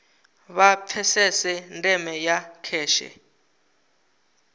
vha pfesese ndeme ya kheshe